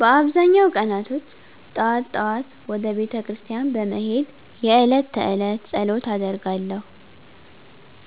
በአብዛኛው ቀናቶች ጠዋት ጠዋት ወደ ቤተክርስቲያን በመሄድ የእለት ተእለት ፀሎት አደርጋለሁ